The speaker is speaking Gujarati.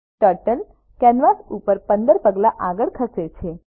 ટર્ટલ કેનવાસ ઉપર 15 પગલા આગળ ખસે છે